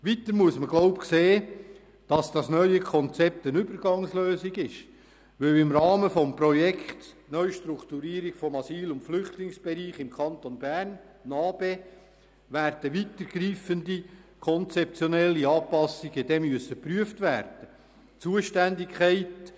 Weiter muss man meines Erachtens sehen, dass das neue Konzept eine Übergangslösung ist, weil im Rahmen des Projekts NA-BE weitergreifende, konzeptionelle Anpassungen geprüft werden müssen.